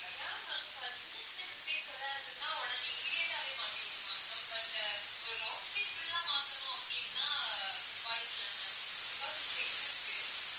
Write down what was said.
yeah ma'am இப்போ சின்ன சின்ன mistakes ஏதாவது இருந்ததுன்னா உடனே immediate ஆவே மாத்தி குடுப்பாங்க ma'am but ஆஹ் ஒரு router ஏ full ஆ மாத்தனும் அப்படின்னா வாய்ப்பில்லை ma'am because its expensive